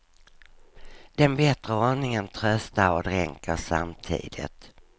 Den bättre ordningen tröstar och dränker samtidigt.